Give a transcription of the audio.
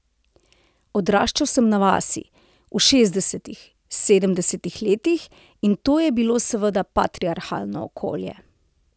Odraščal sem na vasi, v šestdesetih, sedemdesetih letih, in to je bilo seveda patriarhalno okolje.